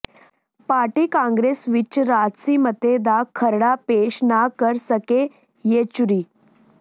party congress ਵਿੱਚ ਰਾਜਸੀ ਮਤੇ ਦਾ ਖਰੜਾ ਪੇਸ਼ ਨਾ ਕਰ ਸਕੇ ਯੇਚੁਰੀ